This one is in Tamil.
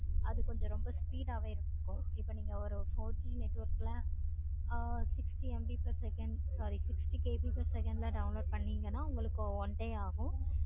அது கொஞ்சம் speed ஆஹ் வே இருக்கும். ஒரு four G network ல six MB per second sixty KB per second ல download பன்னிங்கன்னா உங்களுக்கு one day aagum.